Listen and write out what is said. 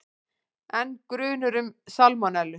Enn grunur um salmonellu